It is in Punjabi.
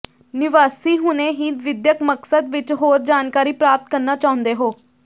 ਨਿਵਾਸੀ ਹੁਣੇ ਹੀ ਵਿਦਿਅਕ ਮਕਸਦ ਵਿਚ ਹੋਰ ਜਾਣਕਾਰੀ ਪ੍ਰਾਪਤ ਕਰਨਾ ਚਾਹੁੰਦੇ ਹੋ